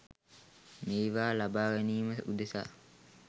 මේවා ලබා ගැනීම උදෙසා